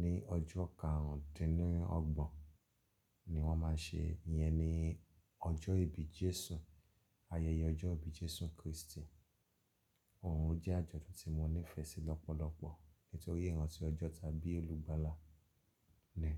Ní ọjọ́ karùndínlọ́gbọ̀n ni wọ́n má ń ṣe, iyẹ ni ọjọ́ ìbí Jésù, ayẹyẹ ọjọ́ ìbí Jésù Krístì. Òhun jẹ́ àjọ̀dún tí mo nífẹ̀ẹ́ sí lọ́pọ̀lọpọ̀ nítorí ìrántí ọjọ́ tàbí olùgbàlà ni.